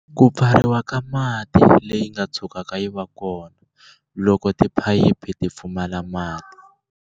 Ku pfariwa ka mati leyi nga tshukaka yi va kona, loko tiphayiphi ti pfumala mati.